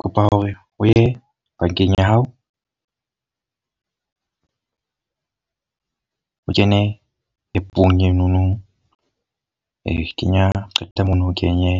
Kopa hore o ye bankeng ya hao. o kene app-ong e no no. kenya qeta mono o kenye